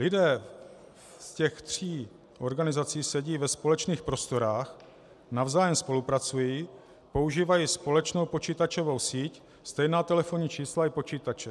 Lidé z těch tří organizací sedí ve společných prostorách, navzájem spolupracují, používají společnou počítačovou síť, stejná telefonní čísla i počítače.